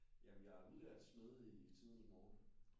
Jamen jeg er udlært smed i tidernes morgen